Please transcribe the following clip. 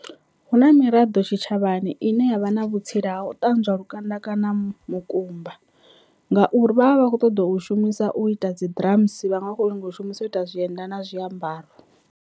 Hu na miraḓo tshitshavhani ine yavha na vhutsila ha u ṱanzwa lukanda kana mukumba ngauri vha vha vha kho ṱoḓa u shumisa u ita dzi drums vhaṅwe vha kho nyaga u shumisa u ita zwienda na zwiambaro.